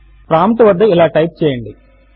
prompt వద్ద ఇలా type చేయండి